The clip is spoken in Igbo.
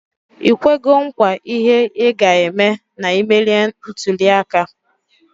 Ikwego nkwa ihe iga eme na imelie ntuli aka?